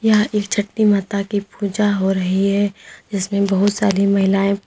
यह एक छट्टी माता की पूजा हो रही है जिसमें बहुत सारी महिलाएं--